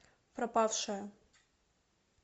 пропавшая